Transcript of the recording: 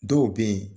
Dɔw be yen